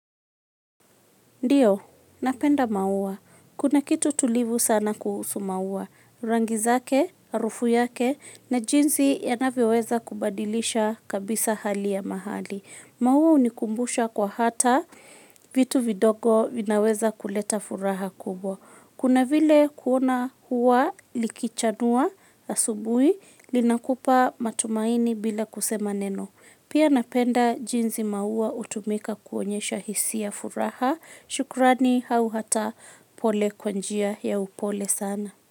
Ndiyo, napenda maua. Kuna kitu tulivu sana kuhusu maua. Rangi zake, harufu yake, na jinsi yanavyoweza kubadilisha kabisa hali ya mahali. Maua hunikumbusha kuwa hata, vitu vidogo vinaweza kuleta furaha kubwa. Kuna vile kuona ua likichanua asubui, linakupa matumaini bila kusema neno. Pia napenda jinsi maua hutumika kuonyesha hisia furaha. Shukrani au hata pole kwa njia ya upole sana.